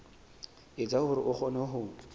etsa hore a kgone ho